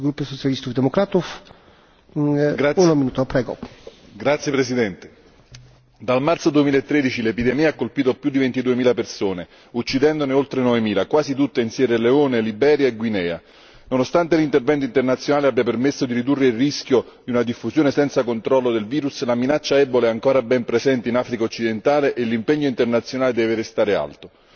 Signor Presidente, onorevoli colleghi, dal marzo 2013 l'epidemia ha colpito più di ventiduemila persone uccidendone oltre novemila, quasi tutte in Sierra Leone, Liberia e Guinea. Nonostante l'intervento internazionale abbia permesso di ridurre il rischio di una diffusione senza controllo del virus, la minaccia Ebola è ancora ben presente in Africa occidentale e l'impegno internazionale deve restare alto.